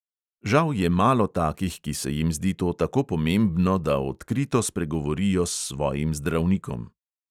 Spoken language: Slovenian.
Žal je malo takih, ki se jim zdi to tako pomembno, da odkrito spregovorijo s svojim zdravnikom.